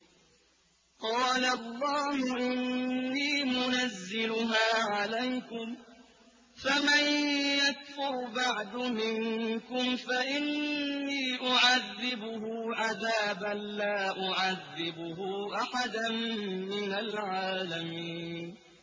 قَالَ اللَّهُ إِنِّي مُنَزِّلُهَا عَلَيْكُمْ ۖ فَمَن يَكْفُرْ بَعْدُ مِنكُمْ فَإِنِّي أُعَذِّبُهُ عَذَابًا لَّا أُعَذِّبُهُ أَحَدًا مِّنَ الْعَالَمِينَ